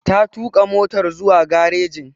Ta tuƙa motar zuwa garejin.